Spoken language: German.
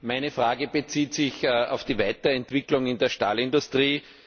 Meine Frage bezieht sich auf die Weiterentwicklung in der Stahlindustrie.